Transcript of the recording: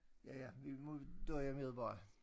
Ja ja vi må døje med det bare